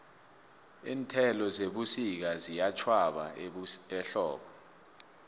iinthelo zebusika ziyatjhwaba ehlobo